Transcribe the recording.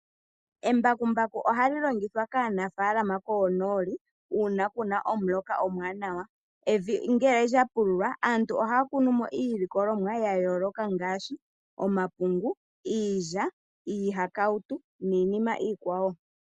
Embakumbaku oha li longithwa kaanafalama koonooli uuna kuna omuloka omuwanawa, evi ngele lya pululwa aantu oha ya kunu mo iilikolomwa ya yooloka ngaashi, omapungu, iilya, iihakautu, niinima iikwawo.